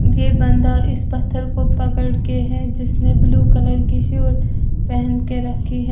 ये बंदा इस पत्थर को पकड़ के है जिसने ब्लू कलर की पहन के रखी है।